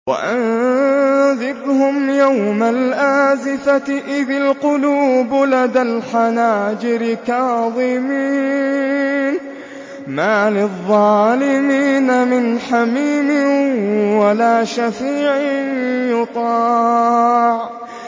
وَأَنذِرْهُمْ يَوْمَ الْآزِفَةِ إِذِ الْقُلُوبُ لَدَى الْحَنَاجِرِ كَاظِمِينَ ۚ مَا لِلظَّالِمِينَ مِنْ حَمِيمٍ وَلَا شَفِيعٍ يُطَاعُ